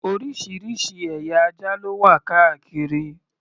Oríṣiríṣi ẹ̀yà ajá ló wà káàkiri.